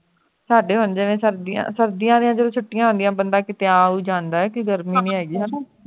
ਸਾਡੇ ਹੁਣ ਜਿਵੇਂ ਸਰਦੀਆਂ ਸਰਦੀਆਂ ਦੀ ਜਦੋਂ ਛੁੱਟੀਆਂ ਹੁੰਦੀਆਂ ਹੈ ਬੰਦਾ ਕਿੱਥੇ ਹੈ ਆ ਉਹ ਜਾਂਦਾ ਹੈ ਕੀ ਗਰਮੀਆਂ ਨਹੀਂ ਹੈ ਗੀ ਉਹ